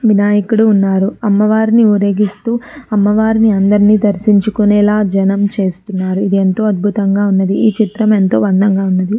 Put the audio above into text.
వినాయకుడు వున్నాడు అమవారిని ఉరేగిస్తూ అమ్మవారిని అందర్నీ దర్షించుకునేలా జెనం చేస్తున్నారు. ఇది ఎంతో అద్భుతంగా వున్నది. ఈ చిత్రం ఎంతో అందంగా ఉంది.